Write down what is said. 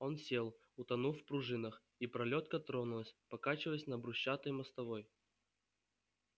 он сел утонув в пружинах и пролётка тронулась покачиваясь на брусчатой мостовой